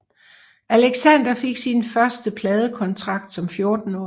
Alexander fik sin første pladekontrakt som 14 årig